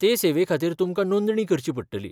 ते सेवेखातीर तुमकां नोंदणी करची पडटली.